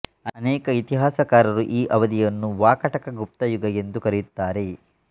ಅನೇಕ ಇತಿಹಾಸಕಾರರು ಈ ಅವಧಿಯನ್ನು ವಾಕಾಟಕಗುಪ್ತ ಯುಗ ಎಂದು ಕರೆಯುತ್ತಾರೆ